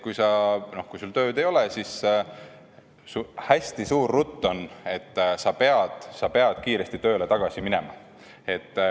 Kui sul tööd ei ole, siis hästi suur rutt on, et sa pead kiiresti tööle tagasi minema.